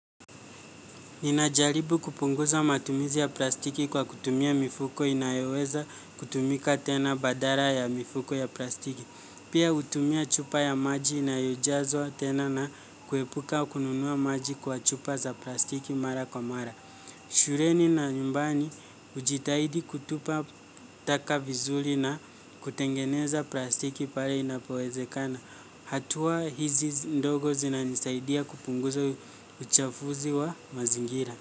Ninajaribu kupunguza matumizi ya plastiki kwa kutumia mifuko inayoweza kutumika tena badala ya mifuko ya plastiki. Pia hutumia chupa ya maji inayojazwa tena na kuepuka kununua maji kwa chupa za plastiki mara kwa mara. Shuleni na nyumbani hujitahidi kutupa taka vizuri na kutengeneza plastiki pale inapowezekana. Hatua hizi ndogo zinanisaidia kupunguza uchafuzi wa mazingira.